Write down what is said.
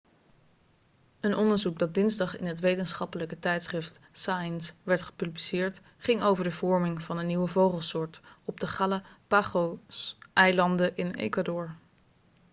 een onderzoek dat dinsdag in het wetenschappelijke tijdschrift science werd gepubliceerd ging over de vorming van een nieuwe vogelsoort op de galapagoseilanden in ecuador